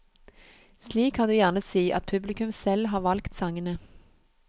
Slik kan du gjerne si at publikum selv har valgt sangene.